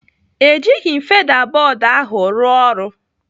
Ejighị m feda bọd ahụ rụọ ọrụ.